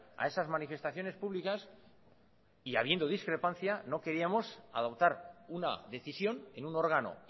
a esas manifestaciones públicas y habiendo discrepancia no queríamos adoptar una decisión en un órgano